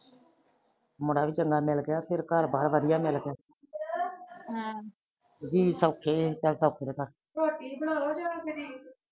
ਮੁੰਡਾ ਚੰਗਾ ਮਿਲ ਗਿਆ ਘਰ ਬਾਰ ਵਧੀਆਂ ਮਿਲ ਗਿਆ ਹਮ